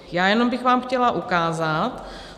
Já jenom bych vám chtěla ukázat.